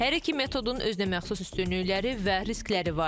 Hər iki metodun özünəməxsus üstünlükləri və riskləri var.